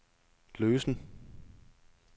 løsen